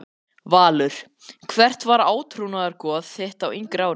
Valur Hvert var átrúnaðargoð þitt á yngri árum?